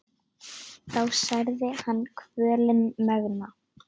þá særði hann kvölin megna.